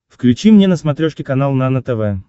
включи мне на смотрешке канал нано тв